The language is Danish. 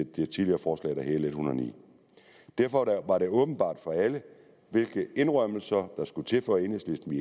det tidligere forslag der hed l en hundrede og ni derfor var det åbenbart for alle hvilke indrømmelser der skulle til for at enhedslisten